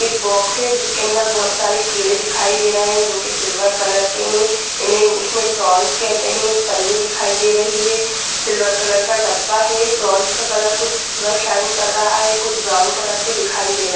एक बॉक्स है जिसके अंदर बहुत सारे कीड़े दिखाई दे रहे हैं जो की सिल्वर कलर के हैं। इन्हे इंग्लिश में प्रोन्स कहते है। एक पन्नी दिखाई दे रही है सिल्वर कलर का डब्बा है प्रोन्स का कलर कुछ ज्यादा साइन कर रहा है कुछ ब्राउन कलर के दिखाई दे रहे है|